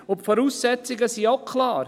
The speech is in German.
Und die Voraussetzungen sind auch klar: